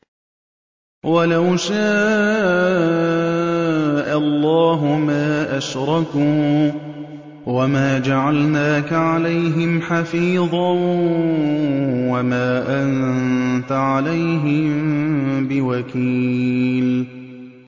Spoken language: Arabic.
وَلَوْ شَاءَ اللَّهُ مَا أَشْرَكُوا ۗ وَمَا جَعَلْنَاكَ عَلَيْهِمْ حَفِيظًا ۖ وَمَا أَنتَ عَلَيْهِم بِوَكِيلٍ